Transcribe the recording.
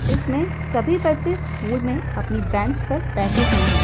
इसमें सभी बच्चे स्कूल में अपनी बेंच पर बैठे हुए हैं।